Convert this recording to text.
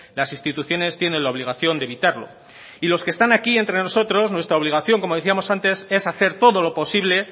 las instituciones tienen la obligación de evitarlo y los que están aquí entre nosotros nuestra obligación como decíamos antes es hacer todo lo posible